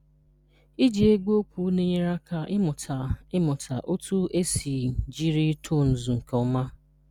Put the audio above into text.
Iji egwu okwu na-enyere aka ịmụta ịmụta otu e si jiri tonuz nke ọma.